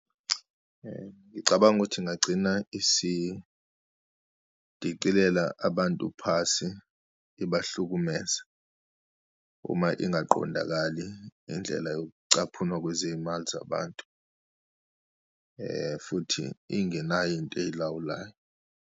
Ngicabanga ukuthi ingagcina isidikilela abantu phasi ibahlukumeze uma ingaqondakali indlela yokucaphunwa kwezimali zabantu, futhi ingenayo into eyilawulayo.